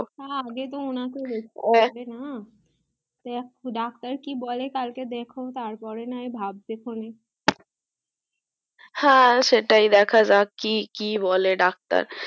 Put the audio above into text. হ্যা আগে তো ওনার তো rest আগে না doctor কি বলে কাল কে দেখো তারপরে নয় ভাববে খনে হ্যা সেটাই ধক্য যাক কি বলে doctor